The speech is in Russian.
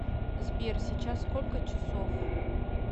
сбер сейчас сколько часов